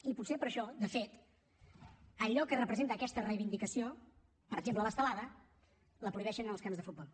i potser per això de fet allò que representa aquesta reivindicació per exemple l’estelada la prohibeixen als camps de futbol